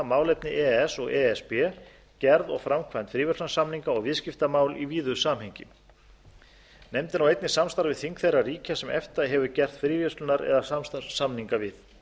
málefni e e s og e s b gerð og framkvæmd fríverslunarsamninga og viðskiptamál í víðu samhengi nefndin á einnig samstarf við þing þeirra ríkja sem efta hefur gert fríverslunar eða samstarfssamninga við